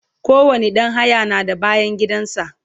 kowani ɗan haya na da bayangidan sa